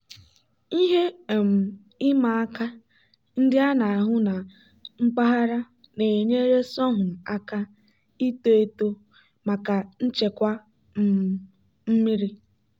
ihe um ịma aka ndị a na-ahụ na mpaghara na-enyere sorghum aka ito eto maka nchekwa um mmiri.